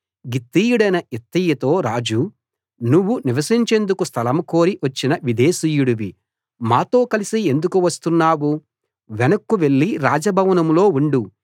గిత్తీయుడైన ఇత్తయితో రాజు నువ్వు నివసించేందుకు స్థలం కోరి వచ్చిన విదేశీయుడివి మాతో కలసి ఎందుకు వస్తున్నావు వెనక్కు వెళ్లి రాజ భవనంలో ఉండు